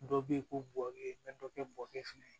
Dɔ bɛ ye ko bɔ e bɛ dɔ kɛ bɔkɛ fɛnɛ ye